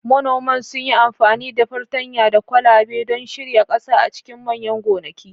Manoman sun yi amfani da fartanya da kwalabe don shirya ƙasa a cikin manyan gonaki.